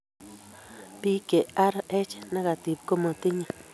Biik che Rh negtive komatinye